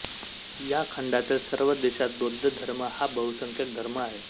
या खंडातील सर्व देशात बौद्ध धर्म हा बहुसंख्यक धर्म आहे